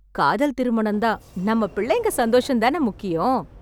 காதல் திருமணம் தான், நம்ம பிள்ளைங்க சந்தோஷம் தான முக்கியம்.